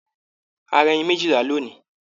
A ra ẹyìn méjìlá lónì.